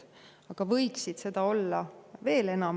Aga võiksid olla veel enam.